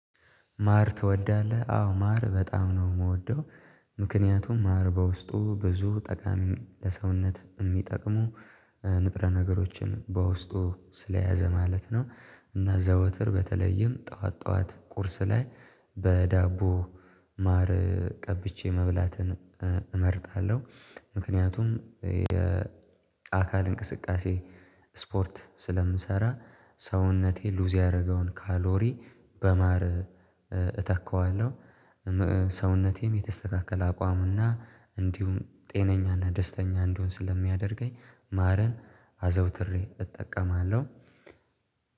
ማር ትወዳለህ? አዎ ማር በጣም ነው የምወደው ምክንያቱም ማር በውስጡ ብዙ ጠቃሚ ለሰውነት የሚጠቅሙ ንጥረ ነገሮችን በውስጡ ስለያዘ ማለት ነው። እና ዘወትር በተለይም ጠዋት ጠዋት ቁርስ ላይ በዳቦ ማር ቀብቼ መብላትን እመርጣለሁ። ምክንያቱም የ አካል እንቅስቃሴ ስፖርት ስለምሰራ ሰውነቴ ሉዝ ያደረገውን ካሎሪ በማር እተካዋለሁ። ሰውነቴም የተስተካከለ አቋም እና እንዲሁም ጤነኛና ደስተኛ እንደሆን ስለሚያደርገኝ ማር አዘውትሬ እጠቀማለሁ።